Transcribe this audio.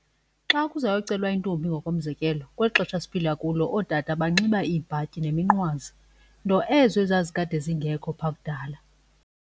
Xa kuzoyocelwa intombi ngokomzekelo kweli xesha siphila kulo ootata banxiba iibhatyi neminqwazi nto ezo ezazikade zingekho phaa kudala.